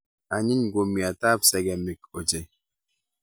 Anyiny kumiat ab segemik ochei